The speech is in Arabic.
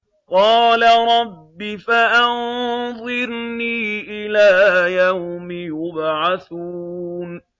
قَالَ رَبِّ فَأَنظِرْنِي إِلَىٰ يَوْمِ يُبْعَثُونَ